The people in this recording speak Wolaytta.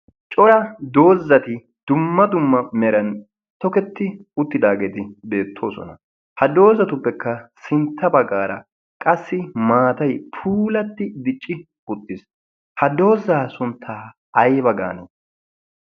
cora doozati dumma dumma meran toketti uttidaageeti beettoosona ha doozatuppekka sintta baggaara qassi maatay puulatti dicci uttiis ha doozaa sunttaa ayba gane